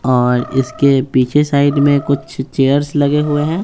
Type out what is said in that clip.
और इसके पीछे साइड में कुछ चेयर्स लगे हुए हैं।